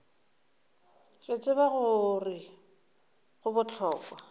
re tseba gore go bohlokwa